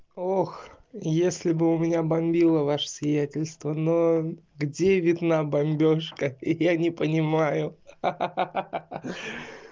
ох если бы у меня бомбило ваше сиятельство но где видна бомбёжка я не понимаю ха-ха-ха